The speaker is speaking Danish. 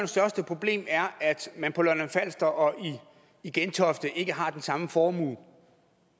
største problem er man på lolland falster og i gentofte ikke har den samme formue